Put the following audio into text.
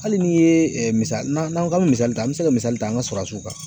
Hali n'i ye misa n'an n'an k'an bɛ misali ta an bɛ se ka misali ta an ka surasuw kan.